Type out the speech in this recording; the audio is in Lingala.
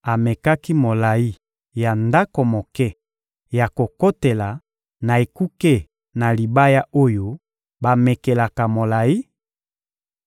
Amekaki molayi ya ndako moke ya kokotela na ekuke na libaya oyo bamekelaka molayi: